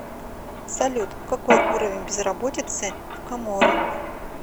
салют какой уровень безработицы в коморы